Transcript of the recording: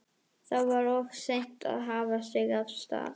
Þá var of seint að hafa sig af stað.